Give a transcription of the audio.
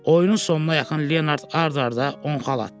Oyunun sonuna yaxın Leonard ard-arda 10 xal atdı.